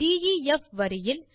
def வரியில்